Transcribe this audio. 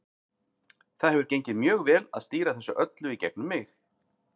Það hefur gengið mjög vel að stýra þessu öllu í gegnum mig.